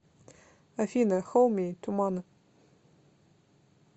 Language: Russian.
афина хоуми туманы